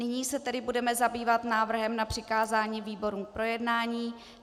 Nyní se tedy budeme zabývat návrhem na přikázání výborům k projednání.